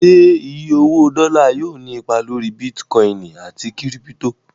Ṣé iye owó dọ́là yóò ní ipa lórí bítíkọìnì àti kírípítò?